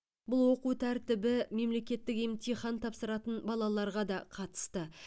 бұл оқу тәртібі мемлекеттік емтихан тапсыратын балаларға да қатысты